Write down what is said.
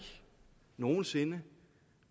nogen sinde